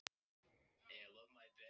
Ég vissi ekki hvaða áhrif það hefði á þig.